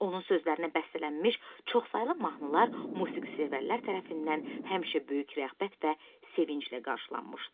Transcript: Onun sözlərinə bəstələnmiş çoxsaylı mahnılar musiqisevərlər tərəfindən həmişə böyük rəğbət və sevinclə qarşılanmışdı.